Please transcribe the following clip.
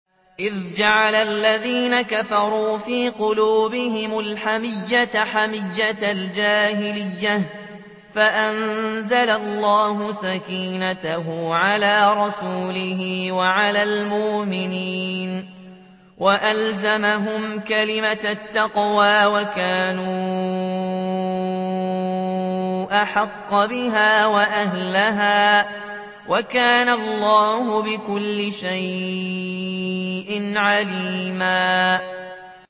إِذْ جَعَلَ الَّذِينَ كَفَرُوا فِي قُلُوبِهِمُ الْحَمِيَّةَ حَمِيَّةَ الْجَاهِلِيَّةِ فَأَنزَلَ اللَّهُ سَكِينَتَهُ عَلَىٰ رَسُولِهِ وَعَلَى الْمُؤْمِنِينَ وَأَلْزَمَهُمْ كَلِمَةَ التَّقْوَىٰ وَكَانُوا أَحَقَّ بِهَا وَأَهْلَهَا ۚ وَكَانَ اللَّهُ بِكُلِّ شَيْءٍ عَلِيمًا